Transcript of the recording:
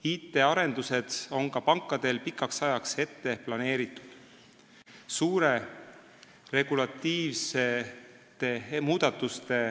Ka pankadel on IT-arendused pikaks ajaks ette planeeritud.